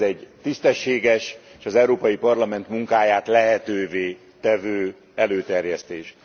Ez egy tisztességes és az Európai Parlament munkáját lehetővé tevő előterjesztés.